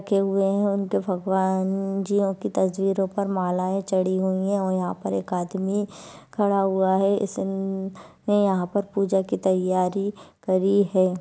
रखे हुए है उनके भगवान जी की तस्वीरों पर मालाए चढ़ी हुई है और यहाँ पर एक आदमी खड़ा हुआ है इसने यहाँ पर पूजा की तैयारी करी है।